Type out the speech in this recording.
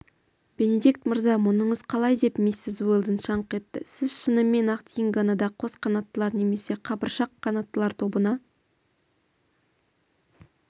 бенедикт мырза мұныңыз қалай деп миссис уэлдон шаңқ еттісіз шынымен-ақ дингоны да қос қанаттылар немесе қабыршақ қанаттылар тобына